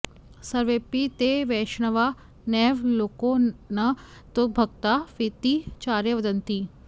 सर्वेपि ते वैष्णवा नैव लोके न तद्भक्ता वेति चार्या वदन्ति